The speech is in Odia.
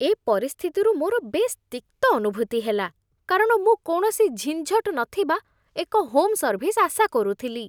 ଏ ପରିସ୍ଥିତିରୁ ମୋର ବେଶ୍ ତିକ୍ତ ଅନୁଭୂତି ହେଲା, କାରଣ ମୁଁ କୌଣସି ଝିଞ୍ଝଟ ନଥିବା ଏକ ହୋମ୍ ସର୍ଭିସ୍ ଆଶା କରୁଥିଲି।